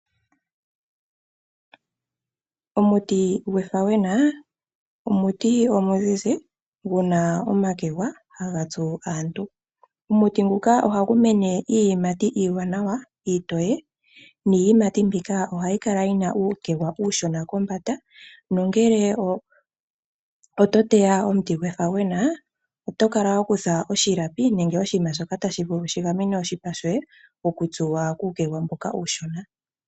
Omuti gwefauwena omuti omuzizi, gu na omakwega ha ga tsu aantu. Omuti nguka oha gu iimi iiyimati iiwanawa, niiyimati mbika, oha yi kala yina uukegwa uushona kombanda, nongele oto teya omiti gwefauwena, oto kala wa kutha oshilapi nenge oshinima shoka ta shi vulu oku gamena oshipa shoye oku tsuwa kuukegwa mboka uushona.